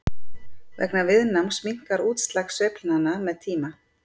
Vegna viðnáms minnkar útslag sveiflnanna með tíma.